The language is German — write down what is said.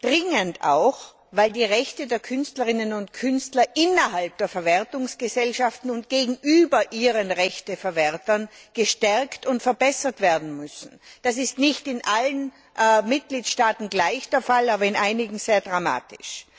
Dringend auch, weil die Rechte der Künstlerinnen und Künstler innerhalb der Verwertungsgesellschaften und gegenüber ihren Rechteverwertern gestärkt und verbessert werden müssen. Das ist nicht in allen Mitgliedstaaten gleichermaßen der Fall, aber in einigen sehr dramatisch.